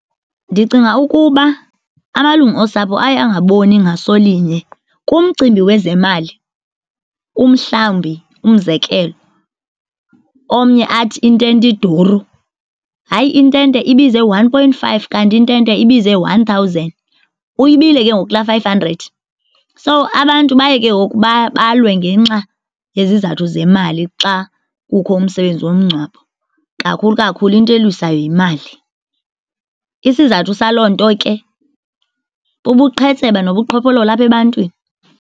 Ndicinga ukuba amalungu osapho aye angaboni ngaso linye kumcimbi wezemali. Umhlawumbi, umzekelo, omnye athi intente iduru. Hayi, intente ibize one point five kanti intente ibize one thousand, uyibile ke ngoku laa five hundred. So, abantu baye ke ngoku balwe ngenxa yezizathu zemali xa kukho umsebenzi womngcwabo, kakhulu kakhulu into elwisayo yimali. Isizathu saloo nto ke bubuqhetseba nobuqhophololo apha ebantwini.